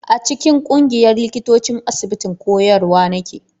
A cikin ƙungiyar likitocin asibitin koyarwa nake.